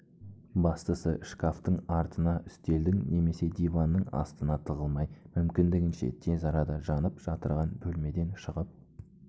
бастысы шкафтың артына үстелдің немесе диванның астына тығылмай мүмкіндігінше тез арада жанып жатырған бөлмеден шығып